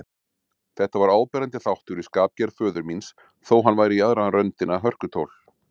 Þetta var áberandi þáttur í skapgerð föður míns, þó hann væri í aðra röndina hörkutól.